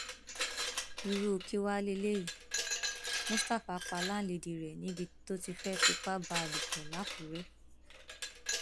irú kí wàá lélẹyìí mustapha pa láńlẹdí rẹ níbi tó ti fẹẹ fipá bá a lò pọ lákùrẹ